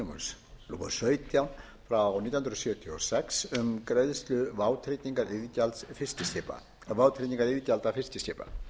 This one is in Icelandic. númer sautján nítján hundruð sjötíu og sex um greiðslu vátryggingargjalda fiskiskipa